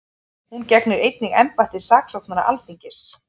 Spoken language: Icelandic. Hún gegnir einnig embætti saksóknara Alþingis